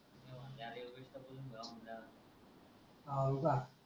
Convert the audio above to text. how Luca